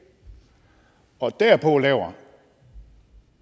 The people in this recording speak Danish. og derpå laver